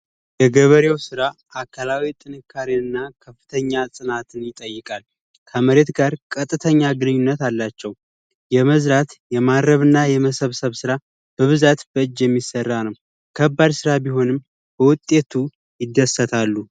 የገበሬው ስራ አካላዊ ጥንካሬ እና ከፍተኛ ጥናትና ይጠይቃል ከመሬት ጋር ቀጥተኛ ግንኙነት አላቸው የመዝዛት የማረምና የመሰብሰብ ራ በብዛት በእጅ የሚሰራ ነው ከባድ ስራ ቢሆንም በውጤቱ ይደሰታሉ